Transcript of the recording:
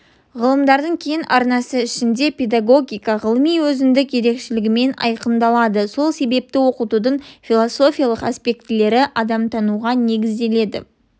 ғылымдардың кең арнасы ішінде педагогика ғылымы өзіндік ерекшелігімен айқындалады сол себепті оқытудың философиялық аспектілері адамтануға негізделеді